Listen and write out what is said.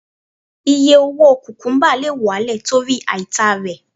Iye owó kùkúbà lè wálẹ̀ torí àìtà rẹ̀.